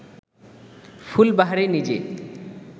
ফুলবাহারি নিজে